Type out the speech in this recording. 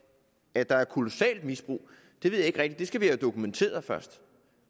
at der er et kolossalt misbrug ved jeg ikke rigtig skal vi have dokumenteret først